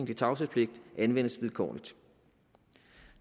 til tavshedspligten anvendes vilkårligt